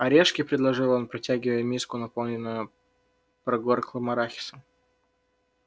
орешки предложил он протягивая им миску наполненную прогорклым арахисом